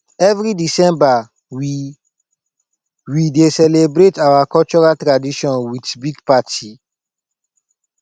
every december we we dey celebrate our cultural tradition with big party